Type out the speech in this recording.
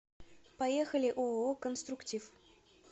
поехали ооо конструктив